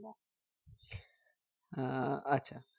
আহ আচ্ছা